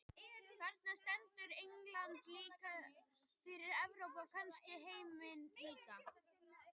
Þarna stendur England líka fyrir Evrópu, og kannski heiminn líka.